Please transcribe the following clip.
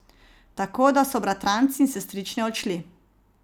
Tako da so bratranci in sestrične odšli.